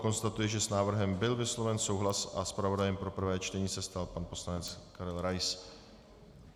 Konstatuji, že s návrhem byl vysloven souhlas a zpravodajem pro prvé čtení se stal pan poslanec Karel Rais.